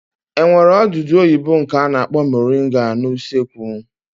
E nwere odudu oyibo nke a na-akpọ moringa n'usekwu?